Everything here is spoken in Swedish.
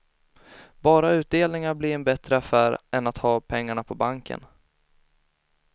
Bara utdelningarna blir en bättre affär än att ha pengarna på banken.